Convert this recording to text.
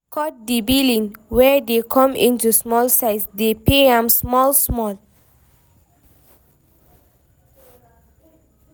Cut di billing wey dey come into small size dey pay am small small